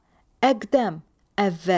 Əqdəm, əvvəl.